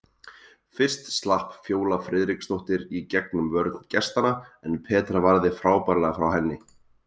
Fyrst slapp Fjóla Friðriksdóttir í gegn um vörn gestanna en Petra varði frábærlega frá henni.